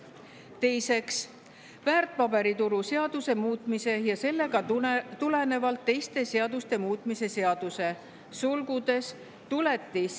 Teiseks, väärtpaberituru seaduse muutmise ja sellest tulenevalt teiste seaduste muutmise seaduse eelnõu.